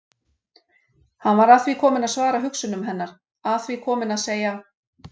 Hann var að því kominn að svara hugsunum hennar, að því kominn að segja